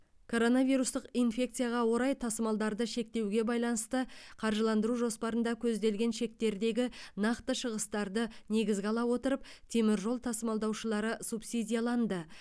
коронавирустық инфекцияға орай тасымалдарды шектеуге байланысты қаржыландыру жоспарында көзделген шектердегі нақты шығыстарды негізге ала отырып теміржол тасымалдаушылары субсидияланды